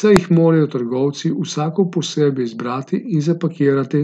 saj jih morajo trgovci vsako posebej izbrati in zapakirati.